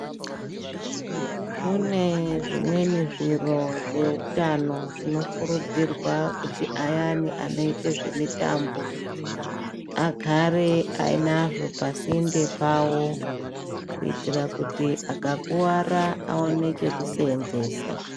Kune zvimweni zviro zvehutano zvinokurudzirwa kuti ayani anoita zvemitambo agare ainazvo pasinde pawo kuitira kuti akakuwara aone pekusenzesa.